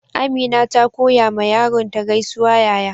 Amina ta koya ma yaron ta gaisuwa yaya.